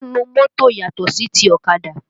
Ọ́ǹnù mọ́tò yàtò sí ti ọ̀kadà